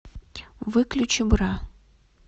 выключи бра